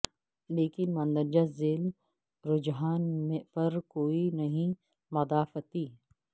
لیکن مندرجہ ذیل رجحان پر کوئی نہیں مدافعتی ہے